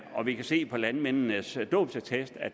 og vi kan se på landmændenes dåbsattest at